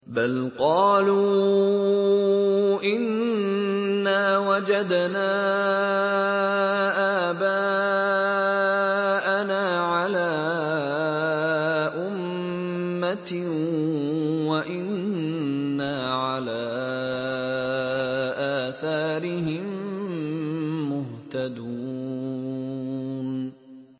بَلْ قَالُوا إِنَّا وَجَدْنَا آبَاءَنَا عَلَىٰ أُمَّةٍ وَإِنَّا عَلَىٰ آثَارِهِم مُّهْتَدُونَ